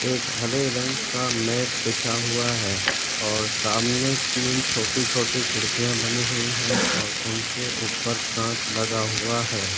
एक हरे रंग का मैट बिछा हुआ है और सामने तीन छोटी-छोटी खिड़किया बनी हुई है और उनके ऊपर काँच लगा लगा हुआ है।